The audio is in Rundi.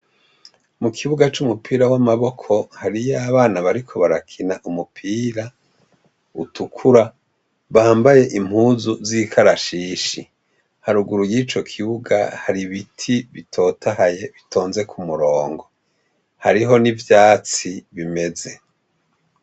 mu kibuga c'umupira w'amaboko hariyo abana bariko barakina umupira utukura bambaye impuzu z'ikarashishi haruguru y'ico kibuga hari ibiti bitotahaye bitonze ku murongo hariho n'ivyatsi bimeze